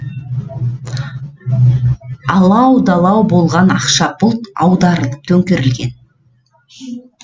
алау далау болған ақша бұлт аударылып төңкерілген